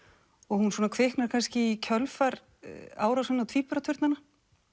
hún kviknar kannski í kjölfar árásanna á tvíburaturnana